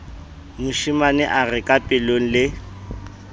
moshemane a re kapelong le